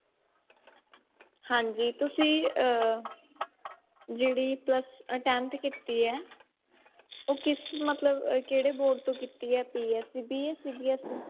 ਹਾਂਜੀ ਤੁਸੀਂ ਅਹ ਜਿਹੜੀ plus ਅਹ tenth ਕੀਤੀ ਹੈ ਉਹ ਕਿਸ ਮਤਲਬ ਕਿਹੜੇ board ਤੋਂ ਕੀਤੀ ਹੈ PSEB ਜਾ CBSE